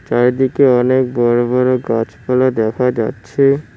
চারিদিকে অনেক বড় বড় গাছপালা দেখা যাচ্ছে।